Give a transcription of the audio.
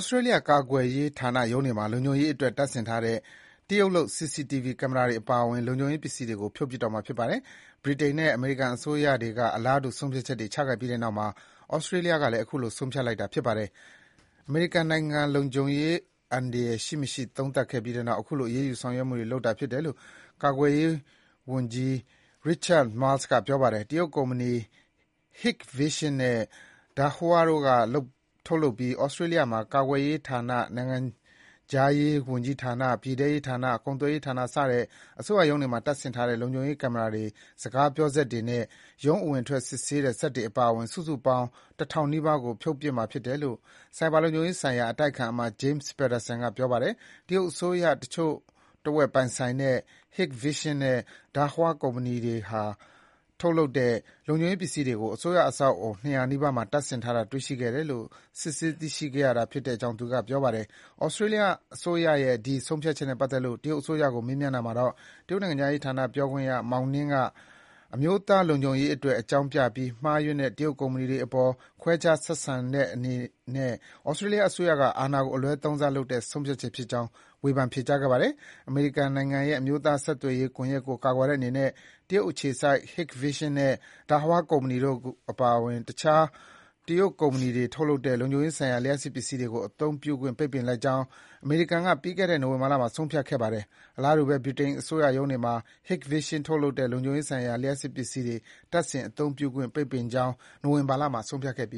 စတြေးလျကာကွယ်ရေးဌာနရုံးတွေမှာ လုံခြုံရေးအတွက် တပ်ဆင်ထားတဲ့ တရုတ်လုပ် CCTV ကင်မရာတွေပါအဝင် လုံခြုံရေး ပစ္စည်တွေကို ဖြုတ်ပစ်တော့မှာ ဖြစ်ပါတယ်။ ဗြိတိန်နဲ့ အမေရိကန်အစိုးရတွေက အလားတူ ဆုံးဖြတ်ချက်တွေချခဲ့ပြီးတဲ့နောက်မှာ သြစတြေးလျကလည်း အခုလို ဆုံးဖြတ်လိုက်တာ ဖြစ်ပါတယ်။ အမေရိကန်နိုင်ငံ လုံခြုံရေးအန္တရာယ်ရှိ မရှိ သုံးသပ်ခဲ့ပြီးနောက် ခုလိုအရေးယူဆောင်ရွက်မှုတွေ လုပ်တာဖြစ်တယ်လို့ ကာကွယ်ရေးဝန်ကြီးက Richard Marles ပြောပါတယ်။ တရုတ်ကုမ္ပဏီ Hikvision နဲ့ Dahua တို့က ထုတ်လုပ်ပြီး သြစတြေးလျ ကာကွယ်ရေးဌာန၊ နိုင်ငံခြားရေးဝန်ကြီးဌာန၊ ပြည်ထဲရေးဌာန၊ ကုန်သွယ်ရေးဌာန စတဲ့ အစိုးရရုံး တွေမှာ တပ်ဆင်ထားတဲ့ လုံခြုံရေးကင်မရာတွေ၊ စကားပြောစက်တွေနဲ့ ရုံးအဝင်အထွက် စစ်ဆေးတဲ့စက်တွေအပါအဝင် စုစုပေါင်း ၁,၀၀၀ နီးပါးကို ဖြုတ်ပစ်ရမှာ ဖြစ်တယ်လို့ ဆိုင်ဘာလုံခြုံရေးဆိုင်ရာ အတိုက်အခံအမတ် James Paterson ကလည်း ပြောပါတယ်။ တရုတ်အစိုးရ တချို့တဝက် ပိုင်ဆိုင်တဲ့ Hikvision နဲ့ Dahua ကုမ္ပဏီတွေက ထုတ်လုပ်တဲ့ လုံခြုံရေးပစ္စည်းတွေကို အစိုးရအဆောက်အဦး ၂၀၀ နီးပါးမှာ တပ်ဆင်ထားတာ တေ့ွရှိခဲ့တယ်လို့ စစ်ဆေးသိရှိခဲ့ရတာဖြစ်တယ်လို့ သူကပြောပါတယ်။ သြစတြေးလျအစိုးရရဲ့ ဒီ ဆုံးဖြတ်ချက်နဲ့ပတ်သက်လို့ တရုတ်အစိုးရကို မေးမြန်းတာမှာတော့ တရုတ်နိုင်ငံခြားရေးဌာန ပြောခွင့်ရ Mao Ning က အမျိုးသားလုံခြုံရေးအတွက် အကြောင်းပြပြီး မှားယွင်းတဲ့၊ တရုတ်ကုမ္ပဏီတွေအပေါ် ခွဲခြားဆက်ဆံတဲ့အနေနဲ့ သြစတြေးလျအစိုးရက အာဏာကို အလွဲသုံးစားလုပ်တဲ့ ဆုံးဖြတ်ချက်ဖြစ်ကြောင်း ဝေဖန် ပြောကြားခဲ့ပါတယ်။ အမေရိကန်နိုင်ငံရဲ့ အမျိုးသားဆက်သွယ်ရေး ကွန်ယက်ကို ကာကွယ်တဲ့အနေနဲ့ တရုတ်အခြေစိုက် Hikvision နဲ့ Dahua ကုမ္ပဏီတို့ အပါအဝင် တခြား တရုတ်ကုမ္ပဏီတွေထုတ်တဲ့ လုံခြုံရေးဆိုင်ရာ လျှပ်စစ်ပစ္စည်းတွေကို အသုံးပြုခွင့် ပိတ်ပင်လိုက်ကြောင်း အမေရိကန်အစိုးရက ပြီးခဲ့တဲ့နှစ် နိုဝင်ဘာလမှာ ဆုံးဖြတ်ခဲ့ပါတယ်။ အလားတူဘဲ ဗြိတိန်အစိုးရရုံးတွေမှာ Hikvision ကထုတ်လုပ်တဲ့ လုံခြုံရေးဆိုင်ရာ လျှပ်စစ်ပစ္စည်းတွေ တပ်ဆင် အသုံးပြုခွင့် ပိတ်ပင်ကြောင်း နိုဝင်ဘာလမှာ ဆုံးဖြတ်ခဲ့ပ